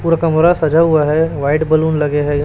और कमरा सजा हुआ है व्हाइट बैलून लगे हैं।